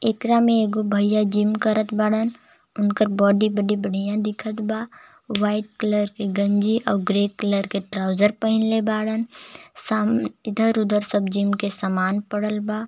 इकरामें एगो भइया जिम करत बाड़न उनकर बॉडी बड़ी बढ़िया दिख़त बा वाइट कलर के गंजी और ग्रे कलर के ट्राउजर पहिनले बाड़न सामने इधर-उधर सब जिम के समान पड़ल बा.